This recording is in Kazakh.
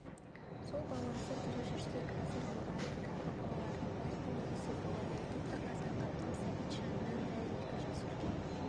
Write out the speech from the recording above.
сол баласы тірі жүрсе қазір борандыдағы балалардың бәрінен ересек болар еді тіпті қазанғаптың сәбитжанынан да екі жас үлкен